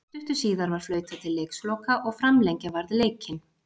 Stuttu síðar var flautað til leiksloka og framlengja varð leikinn.